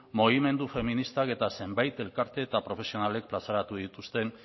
mugimendu feministak eta zenbait elkarte eta profesionalek plazaratu dituzten